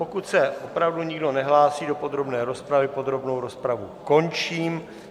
Pokud se opravdu nikdo nehlásí do podrobné rozpravy, podrobnou rozpravu končím.